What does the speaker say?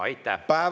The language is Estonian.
Aitäh!